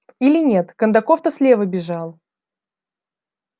или нет кондаков то слева бежал